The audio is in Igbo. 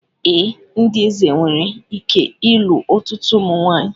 Ee, ndị eze nwere ike ịlụ ọtụtụ ụmụ nwanyị